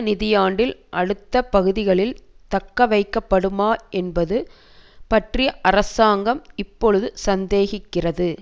நிதியாண்டின் அடுத்த பகுதிகளில் தக்க வைக்கப்படுமா என்பது பற்றி அரசாங்கம் இப்பொழுது சந்தேகிக்கிறது